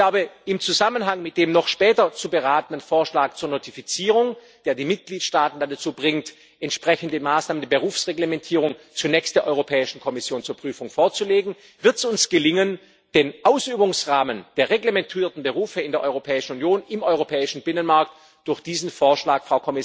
Ich glaube, im Zusammenhang mit dem noch später zu beratenden Vorschlag zur Notifizierung, der die Mitgliedstaaten dann dazu bringt, entsprechende Maßnahmen der Berufsreglementierung zunächst der Europäischen Kommission zur Prüfung vorzulegen, wird es uns gelingen, den Ausübungsrahmen der reglementierten Berufe in der Europäischen Union, im europäischen Binnenmarkt, durch diesen Vorschlag